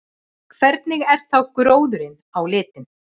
Hvernig er þá gróðurinn á litinn?